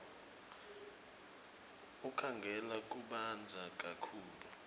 enkhangala kubandza kakhulu